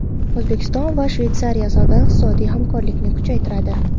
O‘zbekiston va Shveysariya savdo-iqtisodiy hamkorlikni kuchaytiradi.